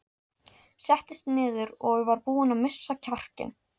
Settist niður og var búin að missa kjarkinn.